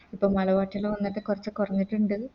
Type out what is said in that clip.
പ്പം മള പച്ചല് വന്നിട്ട് കൊറച്ച് കൊറഞ്ഞിട്ടുണ്ട്